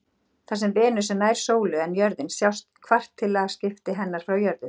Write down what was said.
Þar sem Venus er nær sólu en jörðin sjást kvartilaskipti hennar frá jörðu.